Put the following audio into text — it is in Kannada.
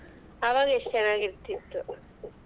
ಅವಾಗ ಎಷ್ಟ್ ಚೆನ್ನಾಗ್ ಇರತಿತ್ತು.